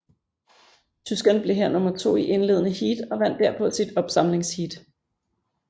Tyskerne blev her nummer to i indledende heat og vandt derpå sit opsamlingsheat